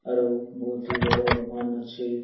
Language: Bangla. আরও বহত ই বড় দোকান আছে ।